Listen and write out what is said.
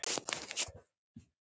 Hvar er Rúnar Már?